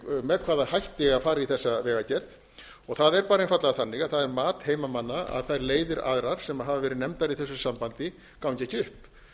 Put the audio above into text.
með hvaða hætti eigi að fara í þessa vegagerð og það er bara einfaldlega þannig að það er mat heimamanna að þær leiðir aðrar sem hafa verið nefndar í þessu sambandi gangi ekki upp